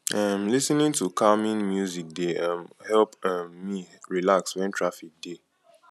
um lis ten ing to calming music dey um help um me relax wen traffic dey